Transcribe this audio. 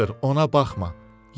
Doktor, ona baxma.